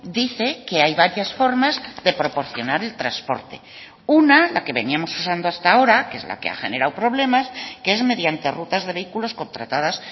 dice que hay varias formas de proporcionar el transporte una la que veníamos usando hasta ahora que es la que ha generado problemas que es mediante rutas de vehículos contratadas